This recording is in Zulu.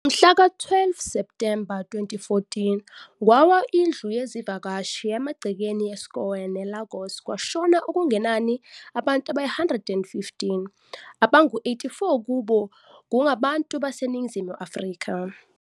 Ngomhlaka 12 Septhemba 2014, kwawa indlu yezivakashi emagcekeni eSCOAN eLagos kwashona okungenani abantu abayi-115, abangu-84 kubo kungabantu baseNingizimu Afrika.